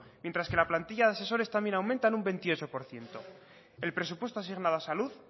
mientras que la plantilla de asesores también aumenta en un veintiocho por ciento el presupuesto asignado a salud